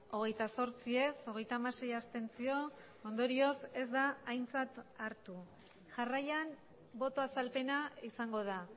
hogeita zortzi ez hogeita hamasei abstentzio ondorioz ez da aintzat hartu jarraian boto azalpena izango da